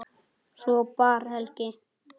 Svo bar Helgi